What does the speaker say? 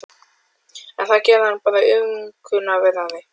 En það gerði hann bara aumkunarverðari.